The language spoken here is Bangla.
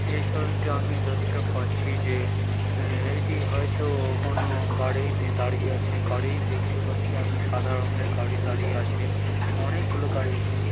এই ছবিতে আমি দেখতে পাচ্ছি যে এ এটি হয়তো কোনো গাড়ি যে দাঁড়িয়ে আছে গাড়ি দেখতে পাচ্ছি আমি সাদা রঙের গাড়ি দাঁড়িয়ে আছে অনেকগুলো গাড়ি আছে সে--